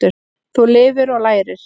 Þú lifir og lærir.